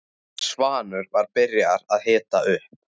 Svanur var byrjaður að hita upp.